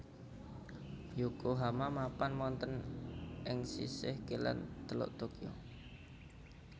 Yokohama mapan wonten ing sisih kilèn Teluk Tokyo